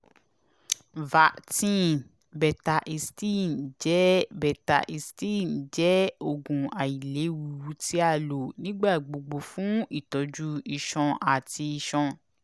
vertin (betahistine) jẹ (betahistine) jẹ oogun ailewu ti a lo nigbagbogbo fun itọju iṣan ati iṣan